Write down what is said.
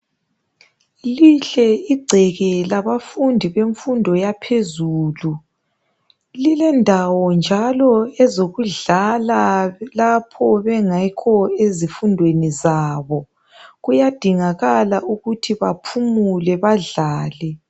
Lihle igceke labafundi bemfundo yaphezulu lilendawo njalo ezokudlala lapho bengekho ezifundweni zabo. Kuyadingakala ukuthi baphumule badlale.